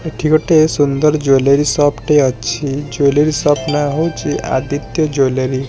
ଏଠି ଗୋଟେ ସୁନ୍ଦର୍ ଜୁଏଲାରୀ ସପ୍ ଟିଏ ଅଛି ଜୁଏଲାରୀ ସପ୍ ନାଁ ହଉଚି ଆଦିତ୍ୟ ଜୁଏଲାରୀ ।